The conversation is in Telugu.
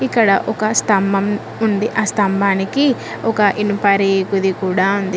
ఇక్కడ ఒక స్థంభం ఉంది ఆ స్థంభానికి ఒక ఇనుప రేకుది కూడా ఉంది.